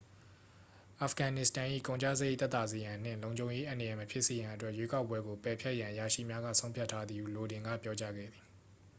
အာဖဂန်နစ္စတန်၏ ကုန်ကျစရိတ် သက်သာစေရန်နှင့်လုံခြုံရေး အန္တရာယ် မဖြစ်စေရန်အတွက် ရွေးကောက်ပွဲကို ပယ်ဖျက်ရန် အရာရှိများက ဆုံးဖြတ်ထားသည်ဟု လိုဒင်က ပြောကြားခဲ့သည်